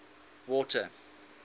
water